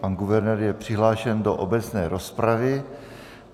Pan guvernér je přihlášen do obecné rozpravy.